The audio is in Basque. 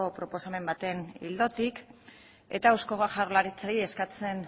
proposamen baten ildotik eta eusko jaurlaritzari eskatzen